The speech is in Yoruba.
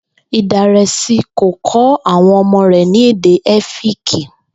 Ìdàrèsi kò kó̩ àwo̩n o̩mó rè̩ ní èdè É̩fíìkì